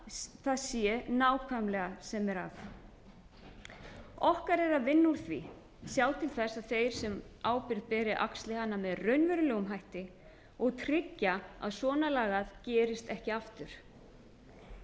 það sé nákvæmlega sem er að okkar er að vinna úr því sjá til þess að þeir sem ábyrgð beri axli hana með raunverulegum hætti og tryggja að svona lagað gerist ekki aftur